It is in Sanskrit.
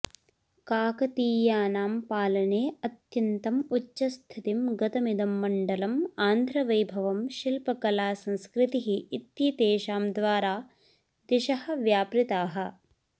काकतीयानां पालने अत्यन्तम् उच्चस्थितिं गतमिदं मण्डलम् आन्ध्रवैभवं शिल्पकला संस्कृतिः इत्येतेषां द्वारा दिशः व्यापृताः